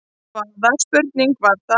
Hvaða spurning var það?